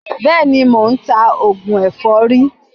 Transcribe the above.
Béèni, mò ń ta oògùn èfọ́rí.